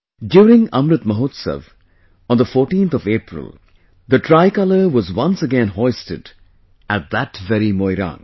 During Amrit Mahotsav, on the 14th of April, the Tricolour was once again hoisted at that very Moirang